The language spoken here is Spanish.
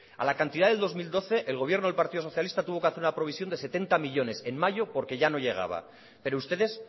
a la cantidad del dos mil doce el gobierno del partido socialista tuvo que hacer una provisión de setenta millónes de euros en mayo porque ya no llegaba pero ustedes